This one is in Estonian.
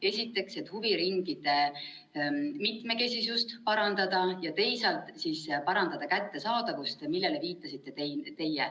Esiteks selleks, et parandada huviringide mitmekesisust, ja teisalt selleks, et parandada kättesaadavust, millele teie viitasite.